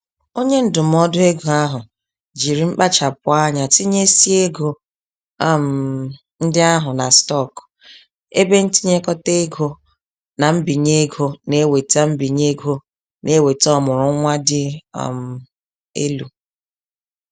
Onye ndụmọdụ ego ahụ jiri mkpachapụ anya tinyésịa ego um ndị ahụ na stock, ebentinyekọta ego, na mbinye ego na-eweta mbinye ego na-eweta ọmụrụnwa dị um elu.